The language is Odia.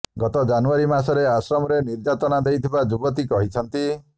ଗତ ଜାନୁଆରୀ ମାସରେ ଆଶ୍ରମରେ ନିର୍ଯାତନା ଦେଇଥିବା ଯୁବତୀ କହିଛନ୍ତି